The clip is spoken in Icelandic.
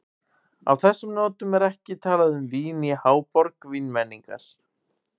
Á þessum nótum er ekki talað um vín í háborg vínmenningar.